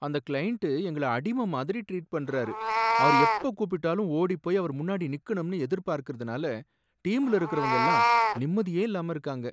அந்த கிளையன்டு எங்களை அடிமை மாதிரி ட்ரீட் பண்றாரு, அவர் எப்ப கூப்பிட்டாலும் ஓடிப்போய் அவர் முன்னாடி நிக்கணும்னு எதிர்பார்க்கிறதுனால டீம்ல இருக்கிறவங்க எல்லாம் நிம்மதியே இல்லாம இருக்காங்க.